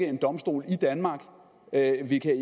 en domstol i danmark at vi ikke